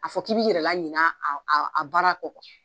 A fɔ k'i b'i yɛrɛ la ɲina aw aw a baara kɔ